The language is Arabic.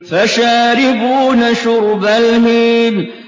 فَشَارِبُونَ شُرْبَ الْهِيمِ